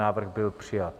Návrh byl přijat.